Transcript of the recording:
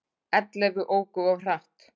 Ellefu óku of hratt